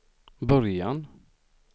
början